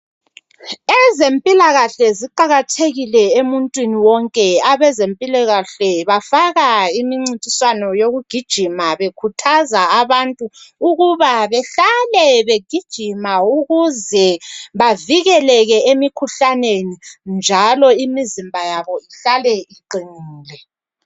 Ezempilakahle ziqakathekile empilweni yomuntu wonke abezempilakahle bafaka imincintiswano yokugijima Bekhuthaza abantu ukuba behlale behlale begijima ukuze bavikeleke emkhuhlaneni njalo imizimba yabo ihlale iqinile